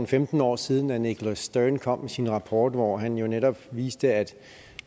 femten år siden at nicholas stern kom med sin rapport hvor han netop viste at